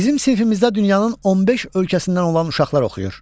Bizim sinifimizdə dünyanın 15 ölkəsindən olan uşaqlar oxuyur.